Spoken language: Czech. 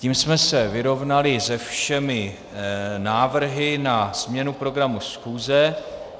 Tím jsme se vyrovnali se všemi návrhy na změnu programu schůze.